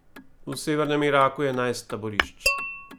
V severnem Iraku je enajst taborišč.